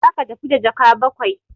Za ka tafi da jaka bakwai!